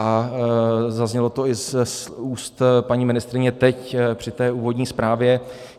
A zaznělo to i z úst paní ministryně teď při té úvodní zprávě.